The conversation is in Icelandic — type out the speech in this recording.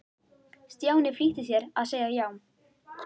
Stjáni flýtti sér að segja já.